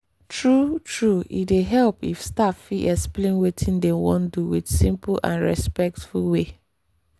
true-true e dey help if staff fit explain wetin dem wan do with simple and respectful way.